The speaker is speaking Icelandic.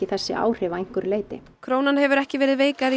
þessi áhrif að einhverju leyti krónan hefur ekki verið veikari